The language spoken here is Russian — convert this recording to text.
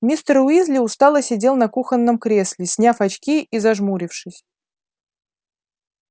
мистер уизли устало сидел на кухонном кресле сняв очки и зажмурившись